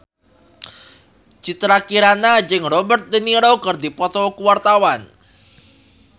Citra Kirana jeung Robert de Niro keur dipoto ku wartawan